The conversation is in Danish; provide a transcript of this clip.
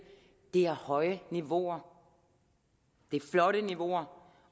er høje niveauer det er flotte niveauer